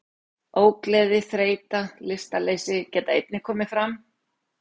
Ógleði, þreyta og lystarleysi geta einnig komið fram.